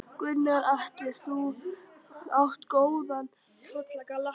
Gunnar Atli: Þú átt góðan pollagalla?